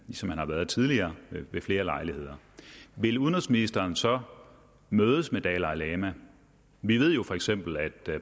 ligesom han har været tidligere ved flere lejligheder vil udenrigsministeren så mødes med dalai lama vi ved jo feks at